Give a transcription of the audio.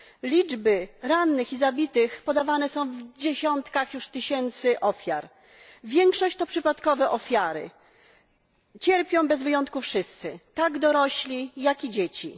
Liczby rannych i zabitych podawane są już w dziesiątkach tysiącach ofiar większość to przypadkowe ofiary. Cierpią bez wyjątku wszyscy tak dorośli, jak i dzieci.